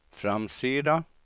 framsida